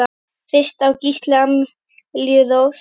Fyrir á Gísli Amelíu Rós.